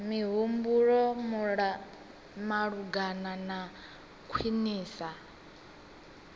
mihumbulo malugana na u khwinisa